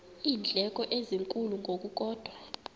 iindleko ezinkulu ngokukodwa